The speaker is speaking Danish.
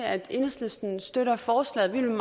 at enhedslisten støtter forslaget vi vil